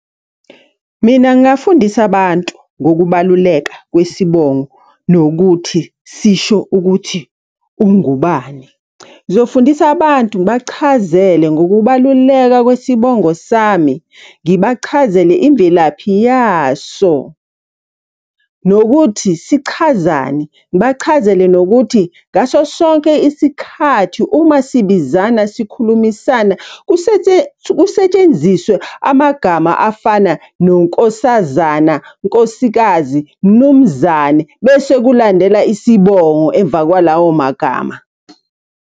Mina ngingafundisa abantu ngokubaluleka kwesibongo nokuthi sisho ukuthi ungubani. Ngizofundisa abantu, ngibachazele ngokubaluleka kwesibongo sami, ngibachazele imvelaphi yaso. Nokuthi sichazani, ngibachazele nokuthi, ngaso sonke isikhathi uma sibizana sikhulumisana kusetshenziswe amagama afana nonkosazana, nkosikazi, mnumzane, bese kulandela isibongo emva kwalawo magama.